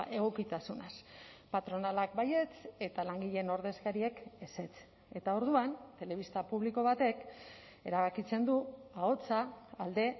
egokitasunaz patronalak baietz eta langileen ordezkariek ezetz eta orduan telebista publiko batek erabakitzen du ahotsa alde